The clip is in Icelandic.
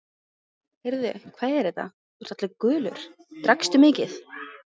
Heyrðu, hvað er þetta, þú ert allur gulur, drakkstu mikið?